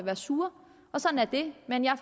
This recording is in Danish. er sure sådan er det men jeg